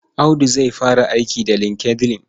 Audu zai fara aiki da LinkedIn.